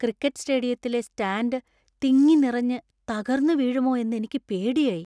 Cricket സ്‌റ്റേഡിയത്തിലെ stand തിങ്ങി നിറഞ്ഞ് തകർന്നു വീഴുമോ എന്നെനിക്ക് പേടിയായി.